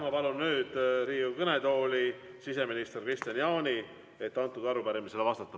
Ma palun nüüd Riigikogu kõnetooli siseminister Kristian Jaani, et arupärimisele vastata.